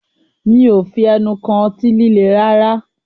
Mí ò fi ẹnu kàn ọtí líle rárá